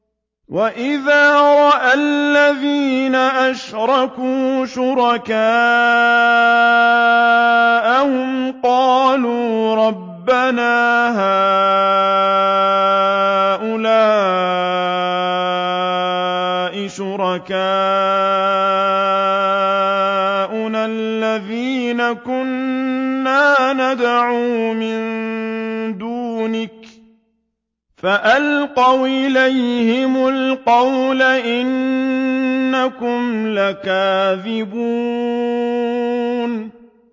وَإِذَا رَأَى الَّذِينَ أَشْرَكُوا شُرَكَاءَهُمْ قَالُوا رَبَّنَا هَٰؤُلَاءِ شُرَكَاؤُنَا الَّذِينَ كُنَّا نَدْعُو مِن دُونِكَ ۖ فَأَلْقَوْا إِلَيْهِمُ الْقَوْلَ إِنَّكُمْ لَكَاذِبُونَ